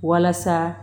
Walasa